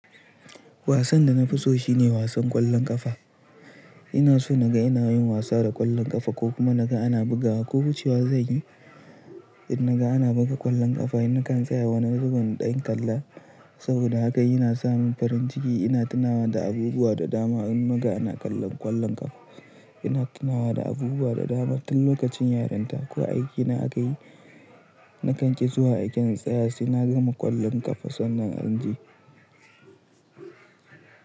Wasan da na fi so shine wasan ƙwallon ƙafa. Ina so naga ina yin wasa da ƙwallon ƙafa ko kuma naga ana bugawa ko wucewa zanyi. In naga ana buga ƙwallon ƙafa na kan tsaya wani ragun ɗan kalla saboda haka ina samun farin ciki. Ina tunawa da abubuwa da dama in naga ana kallon ƙwallon ƙafa. Ina tunawa da abubuwa da dama tun lokacin yarinta ko aike na a kayi. Nakan ki zuwa aiken tsaya sai na gama ƙwallon ƙafa sannan inje.